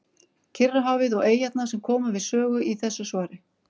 Kyrrahafið og eyjarnar sem koma við sögu í þessu svari.